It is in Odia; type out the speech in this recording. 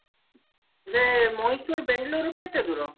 ଯେ ମୟୀଶୁର ବେଙ୍ଗେଲୋର ରୁ କେତେ ଦୂର